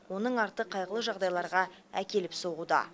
оның арты қайғылы жағдайларға әкеліп соғуда